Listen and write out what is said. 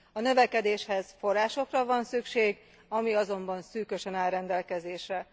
A növekedéshez forrásokra van szükség, ami azonban szűkösen áll rendelkezésre.